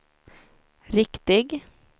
riktig